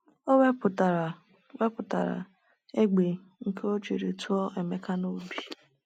O wepụtara wepụtara egbe nke o jiri tụọ Emeka n’obi.